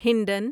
Hindon